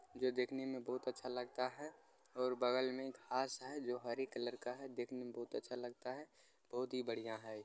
जो देखने में बहुत अच्छा लगता है और बगल में घास है जो हरे कलर का है जो देखने में बहुत अच्छा लगता है बहुत ही बढ़ियां है।